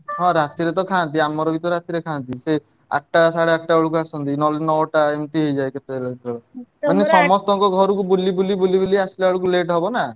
ହଁ ରାତିରେ ତ ଖାଆନ୍ତି ଆମର ବି ତ ରାତି ରେ ଖାଆନ୍ତି ସିଏ ଆଠଟା ସାଢେ ଆଠଟା ବେଳକୁ ଆସନ୍ତି ନହେଲେ ନଅଟା ଏମତି ହେଇଯାଏ କେତବେଳେ କେତବେଳେ ସମସ୍ତଙ୍କ ଘରକୁ ବୁଲି ବୁଲି ବୁଲି ବୁଲି ଆସିଲା ବେଳକୁ late ହବ ନାଁ।